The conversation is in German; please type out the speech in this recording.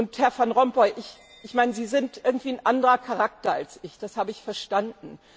Und Herr Van Rompuy, ich meine, Sie sind irgendwie ein anderer Charakter als ich, das habe ich verstanden.